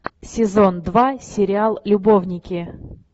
сезон два сериал любовники